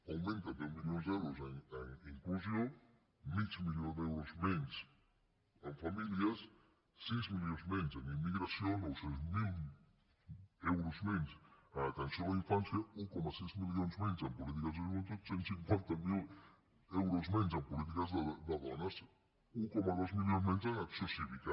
augmenten deu milions d’euros en inclusió mig milió d’euros menys en famílies sis milions menys en immigració nou cents miler euros menys en atenció a la infància un coma sis milions menys en polítiques de joventut cent i cinquanta miler euros menys en polítiques de dones un coma dos milions menys en acció cívica